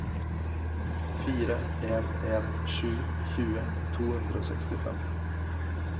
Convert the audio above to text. fire en en sju tjue to hundre og sekstifem